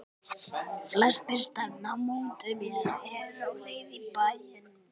Flestir stefna á móti mér, eru á leið í bæinn.